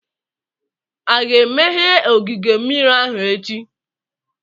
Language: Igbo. A ga-emeghe ogige mmiri ahụ echi?